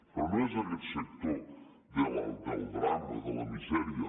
però no és aguest sector del drama de la misèria